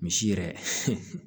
Misi yɛrɛ